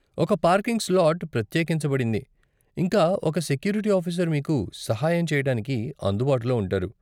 ఒక parking slot ప్రత్యేకించబడింది, ఇంకా ఒక సెక్యూరిటీ ఆఫీసర్ మీకు సహాయం చేయటానికి అందుబాటులో ఉంటాడు.